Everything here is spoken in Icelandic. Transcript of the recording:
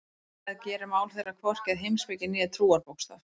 En það gerir mál þeirra hvorki að heimspeki né trúarbókstaf.